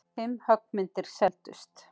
Fimm höggmyndir seldust.